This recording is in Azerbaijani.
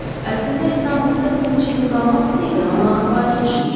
Əslində İstanbulda bir neçə gün qalmaq istəyirdim, amma vacib işim çıxdı.